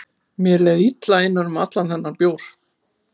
Mér leið illa innan um allan þennan bjór.